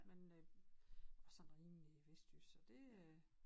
Men øh hun var sådan rimelig vestjysk så det øh